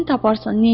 Dirsini taparsan.